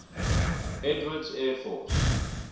edwards air force